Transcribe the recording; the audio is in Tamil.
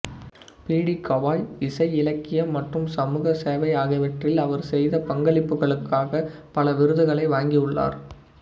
பி டி கவாய் இசை இலக்கியம் மற்றும் சமூக சேவை ஆகியவற்றில் அவர் செய்த பங்களிப்புகளுக்காக பல விருதுகளை வழங்கியுள்ளார்